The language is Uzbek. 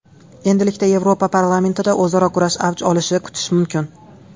Endilikda Yevropa parlamentida o‘zaro kurash avj olishini kutish mumkin.